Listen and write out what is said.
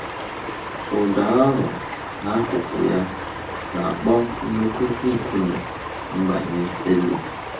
Ụdọ ahụ, n’akụkụ ya, na-akpọ nnukwu nkume mgbanye elu.